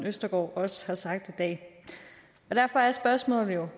østergaard også har sagt i dag derfor er spørgsmålet jo